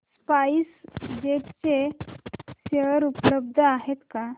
spice jet चे share उपलब्ध आहेत का